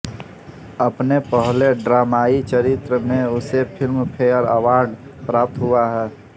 अपने पहले ड्रामाई चरित्र में उसे फ़िल्मफ़ेयर अवॉर्ड प्राप्त हुआ